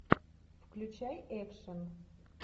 включай экшн